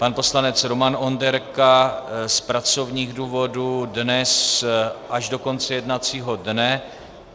Pan poslanec Roman Onderka z pracovních důvodů dnes až do konce jednacího dne.